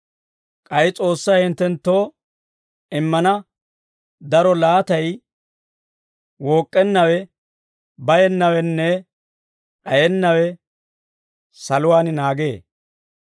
K'ay S'oossay hinttenttoo immana daro laatay wook'k'ennawe, bayennawenne d'ayennawe saluwaan naagee.